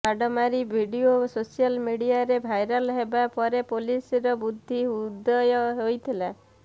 ମାଡ଼ ମରା video social ମିଡିଆରେ ଭାଇରାଲ ହେବା ପରେ ପୋଲିସର ବୁଦ୍ଧି ଉଦୟ ହୋଇଥିଲା